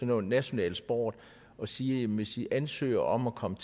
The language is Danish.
noget national sport at sige at hvis de ansøger om at komme